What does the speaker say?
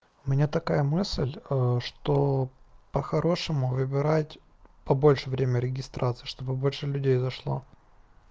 у меня такая мысль что по-хорошему выбирать побольше время регистрации чтобы больше людей зашло